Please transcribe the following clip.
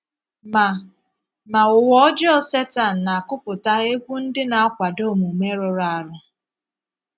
Ma Ma ụ̀wà ọjọọ Setan na - akụpụta égwú ndị na - akwàdò omume rụrụ̀ arụ.